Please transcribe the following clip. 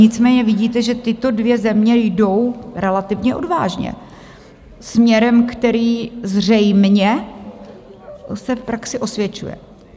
Nicméně vidíte, že tyto dvě země jdou relativně odvážně směrem, který zřejmě se v praxi osvědčuje.